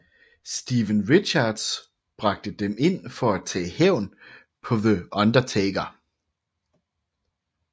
Steven Richards bragte dem ind for at tage hævn på The Undertaker